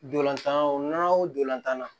Dolantan o nan o don tan na